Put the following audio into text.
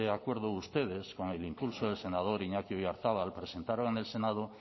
acuerdo ustedes con el impulso del senador iñaki oyarzabal presentaron en el senado